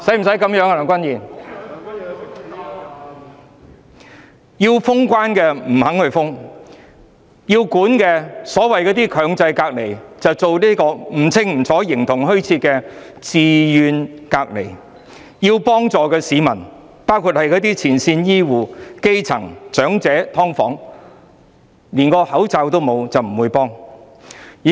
市民要求封關，政府不同意；所謂的"強制隔離"，規定模糊不清，變成形同虛設的"自願隔離"；要幫助的市民，包括前線醫護人員、基層市民、長者、"劏房戶"，他們連口罩都沒有，得不到適當幫助。